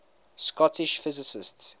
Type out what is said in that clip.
scottish physicists